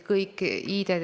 Miks on seda raha vähendatud?